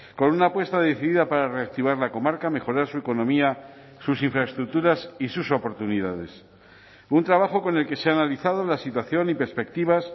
con una apuesta decidida para reactivar la comarca mejorar su economía sus infraestructuras y sus oportunidades un trabajo con el que se ha analizado la situación y perspectivas